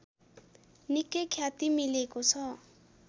निकै ख्याति मिलेको छ